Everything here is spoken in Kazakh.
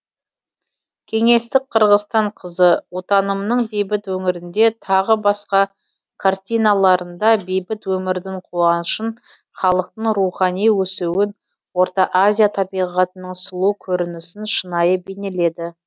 кеңестік қырғызстан қызы отанымның бейбіт өңірінде тағы басқа картиналарында бейбіт өмірдің қуанышын халықтың рухани өсуін орта азия табиғатының сұлу көрінісін шынайы бейнеледі